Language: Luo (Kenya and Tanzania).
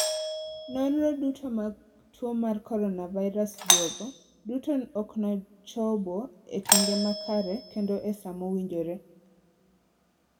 Nonro duto mag tuo mar coronavirus duogo duto oknochobo e kinde makare kendo e sa mowinjore.